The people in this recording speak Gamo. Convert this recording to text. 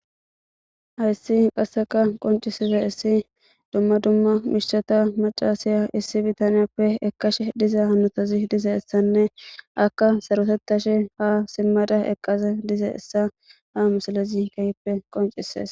Hayssi qasseka qoncisize issi dumma dumma mishthata macaasiya issi bitaniyappe ekashe diza hanotazi dize issanne akka sarutettashe ha simmada eqqaza dize essa ha musalezi kayppe qoncisees.